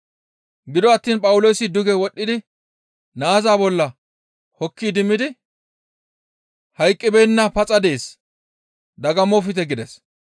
Gido attiin Phawuloosi duge wodhdhidi naaza bolla hokki idimmidi, «Hayqqibeenna paxa dees, dagammofte!» gides.